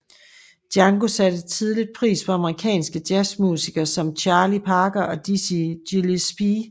Django satte tidligt pris på amerikanske jazzmusikere som Charlie Parker og Dizzy Gillespie